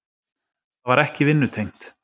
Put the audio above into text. Það var ekki vinnutengt.